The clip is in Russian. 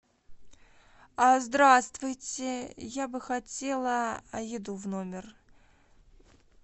здравствуйте я бы хотела еду в номер